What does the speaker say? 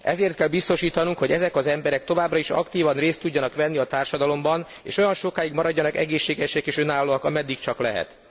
Ezért kell biztosítanunk, hogy ezek az emberek továbbra is aktívan részt tudjanak venni a társadalomban, és olyan sokáig maradjanak egészségesek és önállóak, ameddig csak lehet.